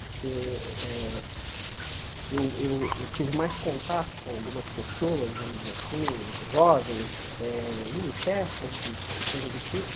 Porque eh eu eu eu tive mais contato com algumas pessoas, vamos dizer assim, jovens eh, em festas e coisa do tipo.